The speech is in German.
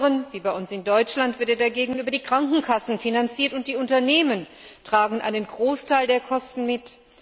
In anderen wie bei uns in Deutschland wird er dagegen über die Krankenkassen finanziert, und die Unternehmen tragen einen Großteil der Kosten mit.